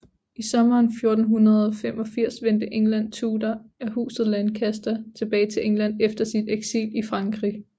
I sommeren 1485 vendte England Tudor af huset Lancaster tilbage til England efter sit eksil i Frankrig